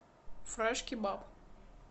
фрэш кебаб